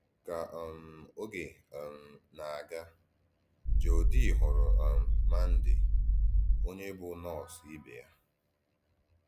Kà um ògé um na-aga, Jòdì hùrù um Màndì, ònyé bụ́ nọọ́sù ìbè yá.